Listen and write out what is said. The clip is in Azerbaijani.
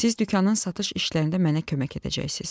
Siz dükanın satış işlərində mənə kömək edəcəksiz.